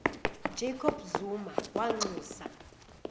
jacob zuma wanxusa